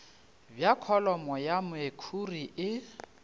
bja kholomo ya mekhuri e